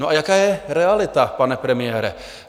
No, a jaká je realita, pane premiére?